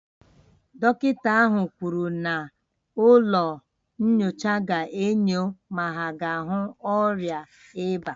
Dọkịta ahụ kwuru na ụlọ nyocha ga-enyo ma ha ga ahu ọrịa ịba